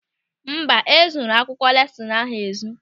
Mba, e zuru akwụkwọ lesinu ahụ ezu.